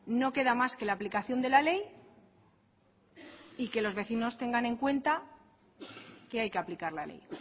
no queda más que la aplicación de la ley y que los vecinos tengan en cuenta que hay que aplicar la ley